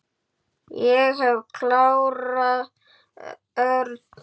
Ég hef klárað Örn.